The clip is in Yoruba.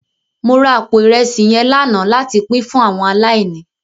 Mó rá àpó irèsí yèn làná làtí pin fún áwòn àláìní